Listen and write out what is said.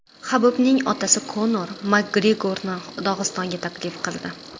Habibning otasi Konor Makgregorni Dog‘istonga taklif qildi.